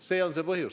See on põhjus.